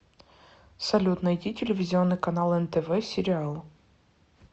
салют найти телевизионный канал нтв сериал